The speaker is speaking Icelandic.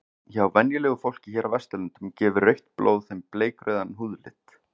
Hjá venjulegu fólki hér á Vesturlöndum gefur rautt blóð þeim bleikrauðan húðlit.